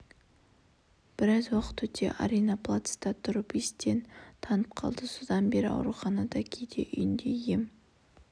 біраз уақыт өте арина плацта тұрып естен танып қалды содан бері ауруханада кейде үйінде ем